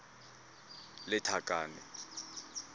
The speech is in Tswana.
lethakane